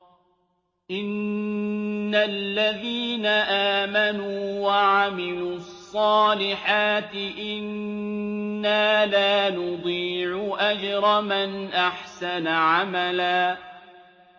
إِنَّ الَّذِينَ آمَنُوا وَعَمِلُوا الصَّالِحَاتِ إِنَّا لَا نُضِيعُ أَجْرَ مَنْ أَحْسَنَ عَمَلًا